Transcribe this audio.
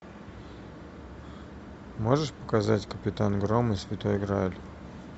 можешь показать капитан гром и святой грааль